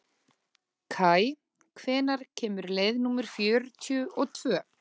Kaj, hvenær kemur leið númer fjörutíu og tvö?